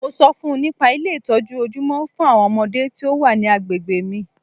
Mo ṣọ fún -un nípa Ilé ìtọ́jú ojúmọ́ fún àwọn ọmọdé tí o wa ní agbègbè mi.